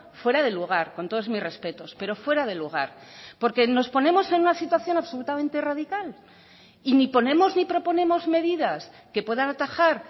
fuera de lugar con todos mis respetos pero fuera de lugar porque nos ponemos en una situación absolutamente radical y ni ponemos ni proponemos medidas que puedan atajar